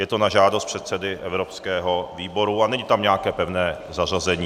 Je to na žádost předsedy evropského výboru a není tam nějaké pevné zařazení.